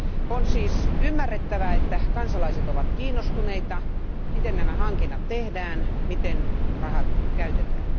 On siis ymmärrettävää, että kansalaiset ovat kiinnostuneita siitä, miten nämä hankinnat tehdään, miten rahat käytetään.